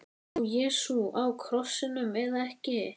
Dó Jesú á krossinum eða ekki?